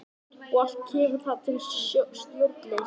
Og allt kemur það til af stjórnleysi.